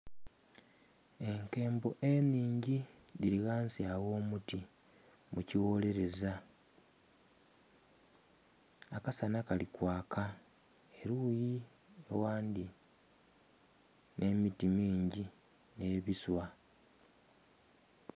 Enkembo enhingi dhili ghansi agh'omuti mu kiwoleleza. Akasanha kali kwaka eluyi oghandhi. Nh'emiti mingi nhe biswa.